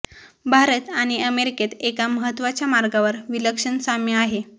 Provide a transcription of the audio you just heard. भारत आणि अमेरिकेत एका महत्त्वाच्या मार्गावर विलक्षण साम्य आहे